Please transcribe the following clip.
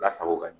Lasago ka ɲɛ